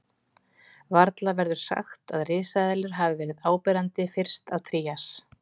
Varla verður sagt að risaeðlur hafi verið áberandi fyrst á Trías.